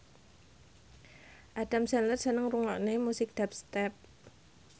Adam Sandler seneng ngrungokne musik dubstep